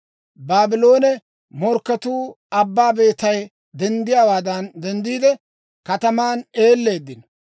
Baabloone morkketuu abbaa beetay denddiyaawaadan denddiide, kataman eelleeddino.